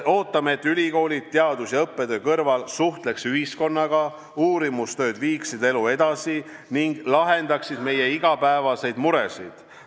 Ootame, et ülikoolid teadus- ja õppetöö kõrval suhtleksid ühiskonnaga, uurimistööd viiksid elu edasi ning lahendaksid meie igapäevaseid muresid.